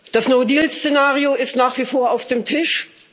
Das No Deal Szenario ist nach wie vor auf dem Tisch.